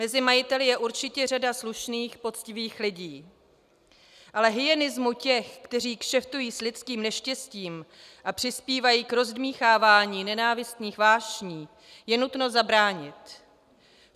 Mezi majiteli je určitě řada slušných poctivých lidí, ale hyenismu těch, kteří kšeftují s lidským neštěstím a přispívají k rozdmýchávání nenávistných vášní, je nutno zabránit.